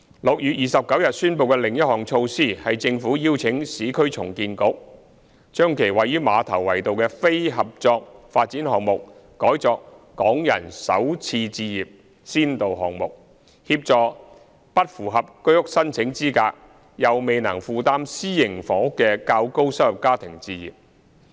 6月29日宣布的另一項措施，是政府邀請市區重建局將其位於馬頭圍道的非合作發展項目改作"港人首次置業"先導項目，協助不符合居屋申請資格、又未能負擔私營房屋的較高收入家庭置業。